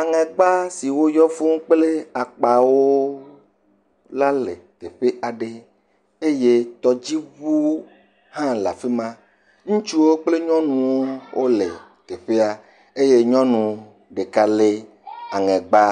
Aŋɛgba siwo yɔ fũu kple akpawo le teƒe aɖe. Eye tɔdziŋuwo hã le afi ma. Ŋutsuwo kple nyɔnuwo le teƒea. Eye nyɔnu ɖeka lé aŋɛgba